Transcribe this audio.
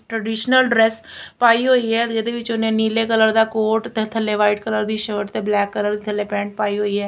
Traditional dress ਪਾਈ ਹੋਈ ਹੈ ਜਿਹਦੇ ਵਿੱਚ ਉਹਨੇ ਨੀਲੇ ਕਲਰ ਦਾ ਕੋਟ ਤੇ ਥੱਲੇ ਵਾਈਟ ਕਲਰ ਦੀ ਸ਼ਰਟ ਤੇ ਬਲੈਕ ਕਲਰ ਥੱਲੇ ਪੈਂਟ ਪਾਈ ਹੋਈ ਹੈ।